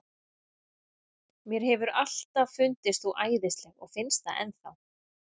Mér hefur alltaf fundist þú æðisleg og finnst það enn þá.